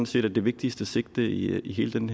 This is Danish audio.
set er det vigtigste sigte i hele den